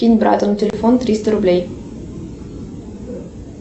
кинь брату на телефон триста рублей